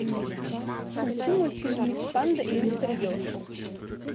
включи мультфильм мисс панда и мистер еж